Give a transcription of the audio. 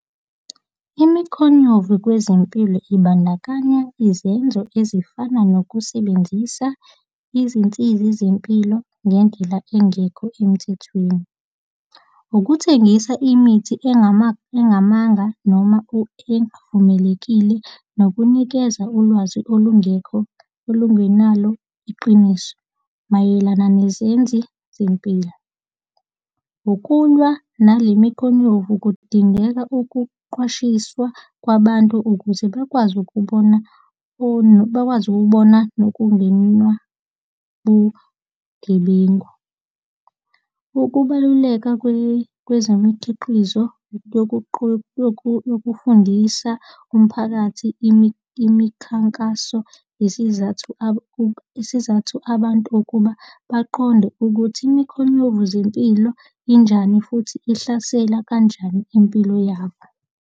Imikhonyovu kwezempilo ibandakanya izenzo ezifana nokusebenzisa izinsiza zempilo ngendlela engekho emthethweni. Ukuthengisa imithi engamanga noma evumelekile nokunikeza ulwazi olungekho olingenalo iqiniso mayelana nezenzi zempilo. Ukulwa nale mikhonyovu kudingeka ukuqwashiswa kwabantu ukuze bekwazi ukubona bakwazi ukubona nokungenwa bugebengu. Ukubaluleka kwezemikhiqizo yokufundisa umphakathi imikhankaso isizathu isizathu abantu ukuba baqonde ukuthi imikhonyovu zempilo injani futhi ihlasela kanjani impilo yabo.